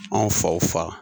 Anw faw fa